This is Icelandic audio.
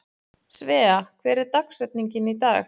Svea, hver er dagsetningin í dag?